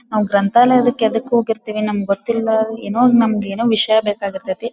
ಆ ಗ್ರಂಥಾಲಯದಕ್ಕೆ ಯಾವದಕ್ಕೆ ಹೋಗಿರ್ತಿವಿ ನಮಗೆ ಗೊತ್ತಿಲ್ಲ ಏನೋ ನಮಗೆ ಏನೋ ವಿಷಯ ಬೇಕಾಗಿರುತ್ತೆ.